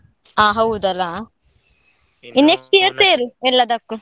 ಹಾ ಹೌದಲ್ಲ next year ಸೇರು ಎಲ್ಲದಕ್ಕೂ.